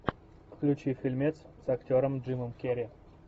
включи фильмец с актером джимом керри